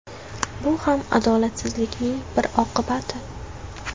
Bu ham adolatsizlikning bir oqibati.